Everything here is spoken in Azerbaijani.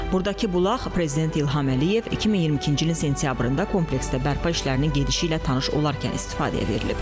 Buradakı bulaq prezident İlham Əliyev 2022-ci ilin sentyabrında kompleksdə bərpa işlərinin gedişi ilə tanış olarkən istifadəyə verilib.